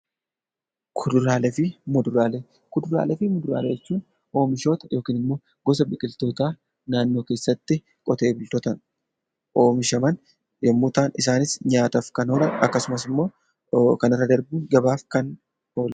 Kuduraalee fi muduraalee jechuun oomishoota yookiin gosa biqiltootaa naannoo keessatti qotee bultootaan oomishaman yommuu ta'an isaanis nyaataaf kan oolan akkasumas immoo kanarra darbee gabaaf kan ta'anidha.